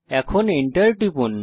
এখন Enter টিপুন